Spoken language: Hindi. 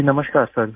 जी नमस्कार सर